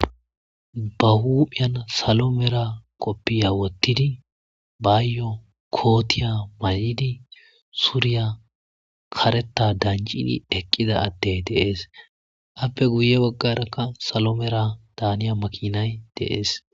ba huuphiyan salo mera qoppiya wottidi baayyo kootiya ma7idi suuriya karetta danjini eqqida addey deees appe guye baggarakka salo mera daaniya makinay deees